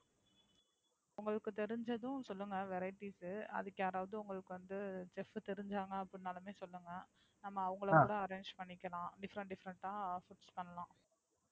உங்களுக்கு தெரிஞ்சுதுமே சொல்லுங்க Varities அதுக்கு யாரவது வந்து, உங்களுக்கு வந்து Just தெரிஞ்சாலுமே சொல்லுங்க. நம்ம அவங்களக் கூட Arrange பண்ணிக்கலாம். different different அ Foods பண்ணலாம்.